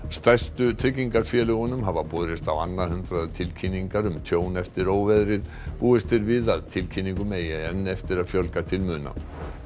stærstu tryggingafélögunum hafa borist á annað hundrað tilkynningar um tjón eftir óveðrið búist er við að tilkynningunum eigi enn eftir að fjölga til muna